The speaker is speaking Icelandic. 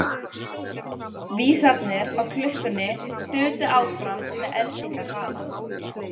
Vísarnir á klukkunni þutu áfram með eldingarhraða.